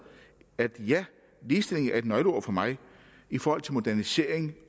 ja ligestilling er et nøgleord for mig i forhold til modernisering